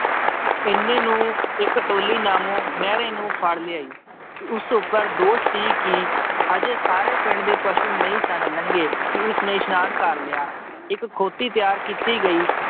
ਇੰਨੇ ਨੂੰ ਇੱਕ ਟੋਲੀ ਨਾਮੋ ਮਹਿਰੇ ਨੂੰ ਫੜ ਲਿਆਈ ਉਸ ਉੱਪਰ ਦੋਸ਼ ਸੀ ਕਿ ਅਜੇ ਸਾਰੇ ਪਿੰਡ ਦੇ ਪਸੂ ਨਹੀਂ ਸਨ ਲੰਘੇ ਕਿ ਉਸਨੇ ਇਸਨਾਨ ਕਰ ਲਿਆ, ਇੱਕ ਖੋਤੀ ਤਿਆਰ ਕੀਤੀ ਗਈ